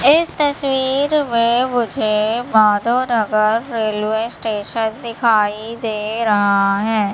इस तस्वीर में मुझे माधव नगर रेलवे स्टेशन दिखाई दे रहा है।